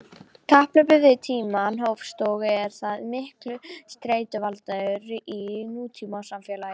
Kapphlaupið við tímann hófst og er það mikill streituvaldur í nútímasamfélagi.